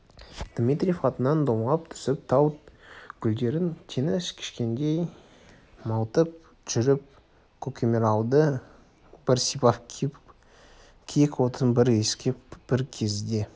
дмитриев атынан домалап түсіп тау гүлдерін теңіз кешкендей малтып жүріп көкемаралды бір сипап киік-отын бір иіскеп бір кезде